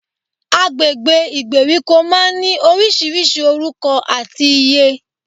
Agbègbè ìgbèríko máa n ní orísirísi orúko àti ìyé